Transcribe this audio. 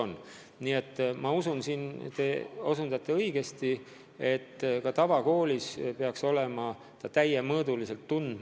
Üldiselt ma usun, et te märkisite õigesti, et ka tavakoolis peaks erivajadustega õpilane saama end täiemõõdulise inimesena tunda.